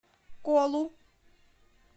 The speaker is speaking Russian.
колу